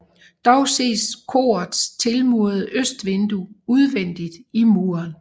Dog ses korets tilmurede østvindue udvendigt i muren